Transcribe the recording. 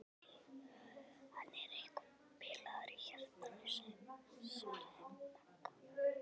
Æ, hann var eitthvað bilaður í hjartanu svaraði Magga.